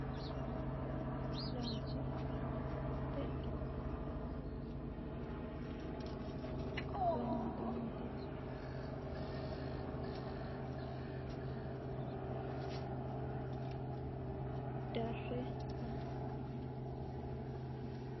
Giwirinnu laalchi giddo mitte ikkitinoti muronna laalote widira higge gaamantannoti su'mase mangote yinanniti sase noote giddo mitte darre agurroonni yaate